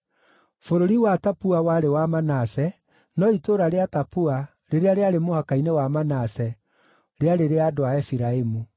(Bũrũri wa Tapua warĩ wa Manase, no itũũra rĩa Tapu, rĩrĩa rĩarĩ mũhaka-inĩ wa Manase, rĩarĩ rĩa andũ a Efiraimu).